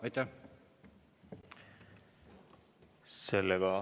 Aitäh!